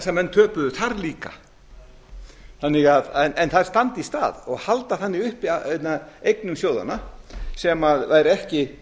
að menn töpuðu þar líka en þær standa í stað og halda þannig uppi eignum sjóðanna sem væri ekki